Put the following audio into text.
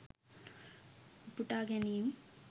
උපුටා ගැනීම්